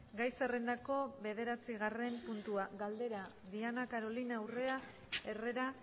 gai zerrendako bederatzigarren puntua galdera diana carolina urrea herrera